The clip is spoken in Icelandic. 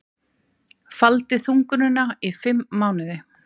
Faldi þungunina í fimm mánuði